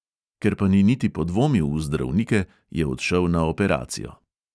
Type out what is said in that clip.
Ker pa ni niti podvomil v zdravnike, je odšel na operacijo.